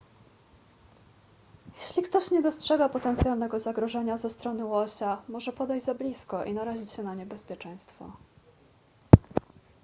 jeśli ktoś nie dostrzega potencjalnego zagrożenia ze strony łosia może podejść za blisko i narazić się na niebezpieczeństwo